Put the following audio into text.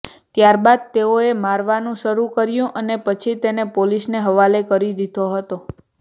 ત્યારબાદ તેઓએ મારવાનું શરૂ કર્યું અને પછી તેને પોલીસને હવાલે કરી દીધો હતો